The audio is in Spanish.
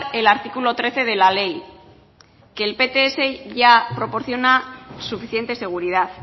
el artículo trece de la lee que el pts ya proporciona suficiente seguridad